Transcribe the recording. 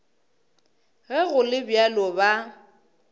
ge go le bjalo ba